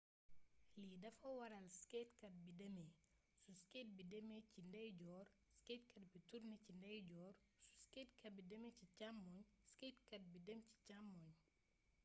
lii dafa waral skatekat bi demee su skate bi demee ci ndeyjoor skatekat bi turne ci ndeeyjoor su skate bi demee càmmoñ skatekat bi dem càmmoñ